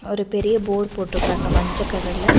ஒரு பெரிய போடு போட்டுருக்றாங்க மஞ்ச கலர்ல .